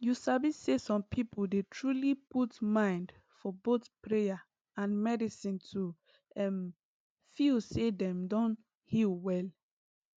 you sabi say some people dey truly put mind for both prayer and medicine to um feel say dem don heal well